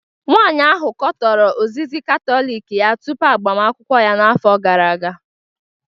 Nwanyị ahụ katọrọ ozizi Katọlik ya tupu agbamakwụkwọ ya n'afọ gara aga